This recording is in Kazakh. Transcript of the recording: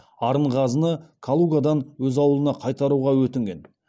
арынғазыны калугадан өз ауылына қайтаруға өтінген